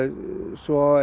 svo